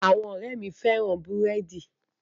Àwọn ọ̀rẹ́ẹ̀ mi féràn búrẹ́dì.